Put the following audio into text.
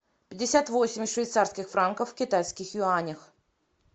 пятьдесят восемь швейцарских франков в китайских юанях